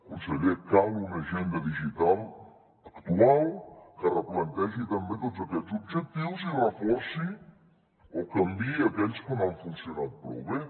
conseller cal una agenda digital actual que replantegi també tots aquests objectius i reforci o canviï aquells que no han funcionat prou bé